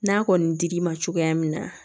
N'a kɔni dir'i ma cogoya min na